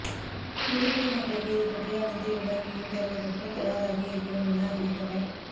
தூத்துக்குடி மக்களுக்கு இதுபற்றிய அனைத்து விவரங்களையும் தருவதற்கு தயாராக இருக்கிறோம் என அறிவித்தவர்